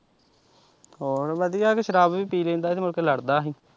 ਹੋਰ ਵਧੀਆ ਸੀ ਸਰਾਬ ਵੀ ਪੀ ਲੈਂਦਾ ਸੀ ਤੇ ਮੁੜ ਕੇ ਲੜਦਾ ਹੀ।